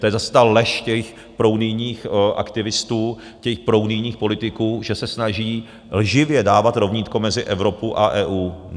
To je zase ta lež těch prounijních aktivistů, těch prounijních politiků, že se snaží lživě dávat rovnítko mezi Evropu a EU.